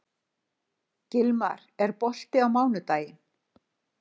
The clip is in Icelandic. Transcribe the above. Gilmar, er bolti á mánudaginn?